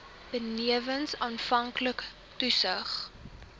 benewens aanvanklike toetsings